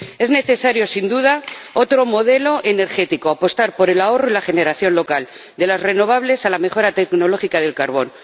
Es necesario, sin duda, otro modelo energético apostar por el ahorro y la generación local, de las renovables a la mejora tecnológica del carbón.